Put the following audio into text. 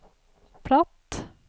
platt